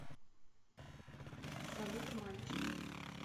салют мальчик